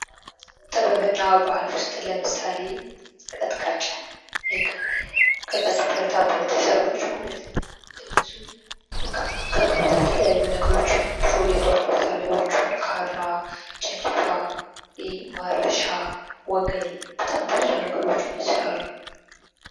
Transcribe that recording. ጥበብና ባህል ውስጥ ለምሳሌ ቀጥቃጭ። ቀጥቃጭ ብረታ ብረት ሠሪዎች ማለት ነው። እነሱም ብቅ ከብረት የተለያዩ ነገሮችን ብዙ የጦር መሳሪያዎችን ካራ ፣ጭልፋ ፣ማረሻ ፣ወገል በጣም ብዙ ነገሮችን ይሠራሉ።